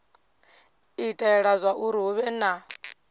itela zwauri hu vhe na